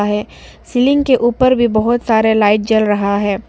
यह सीलिंग के ऊपर भी बहुत सारे लाइट जल रहा है।